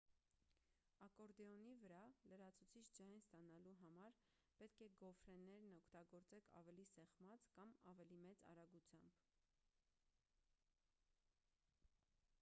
ակորդեոնի վրա լրացուցիչ ձայն ստանալու համար պետք է գոֆրեներն օգտագործեք ավելի սեղմած կամ ավելի մեծ արագությամբ